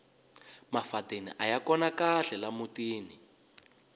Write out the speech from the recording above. mafadeni aya kona kahle la mutini